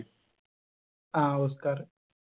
ആ ഓസ്കാർ